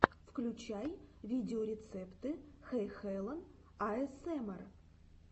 включай видеорецепты хэйхелен аэсэмэр